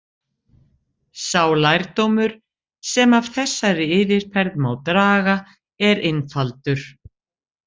Sá lærdómur sem af þessari yfirferð má draga er einfaldur.